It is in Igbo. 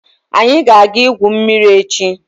Anyi ga aga igwu mmiri echi?